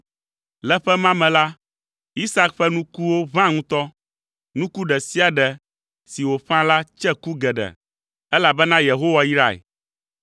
Le ƒe ma me la, Isak ƒe nukuwo ʋã ŋutɔ; nuku ɖe sia ɖe si wòƒã la tse ku geɖe, elabena Yehowa yrae.